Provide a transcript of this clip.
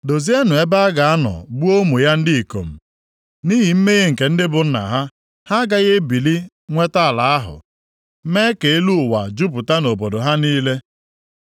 Dozienụ ebe a ga-anọ gbuo ụmụ ya ndị ikom, nʼihi mmehie nke ndị bụ nna ha. Ha agaghị ebili nweta ala ahụ, mee ka elu ụwa jupụta nʼobodo ha niile.